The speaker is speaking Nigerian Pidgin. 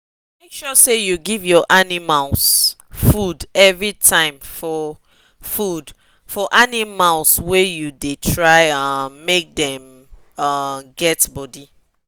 make sure say you give your animal food every time food for food for animals wa u the try um make them um get body